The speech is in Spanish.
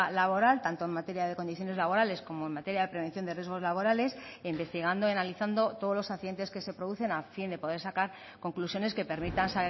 laboral tanto en materia de condiciones laborales como en materia de prevención de riesgos laborales e investigando y analizando todos los accidentes que se producen a fin de poder sacar conclusiones que permitan